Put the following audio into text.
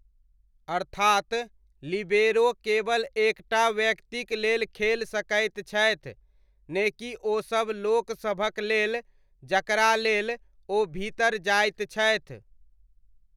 अर्थात, लिबेरो केवल एक टा व्यक्तिक लेल खेलि सकैत छथि, ने कि ओसब लोकसभक लेल जकरालेल ओ भीतर जाइत छथि।